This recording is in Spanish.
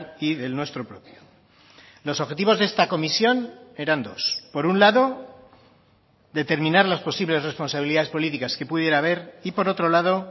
y del nuestro propio los objetivos de esta comisión eran dos por un lado determinar las posibles responsabilidades políticas que pudiera haber y por otro lado